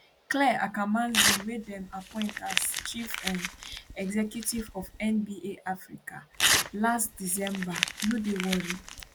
clare akamanzi wey dem appoint as chief um executive of nba africa last december no dey worried